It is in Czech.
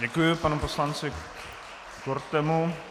Děkuji panu poslanci Kortemu.